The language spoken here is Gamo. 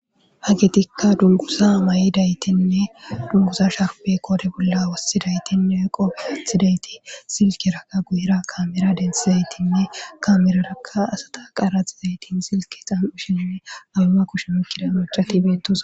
Hagetika dunguza mayidasanne dunguza sharbe qoren wotidayitinne qophe atizayiti silkeraka guyera kamera dentidayiti abeba keshen oyikizayisati betosona